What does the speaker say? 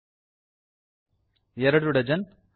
2 dozen